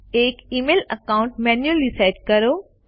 એક email account manually set કરો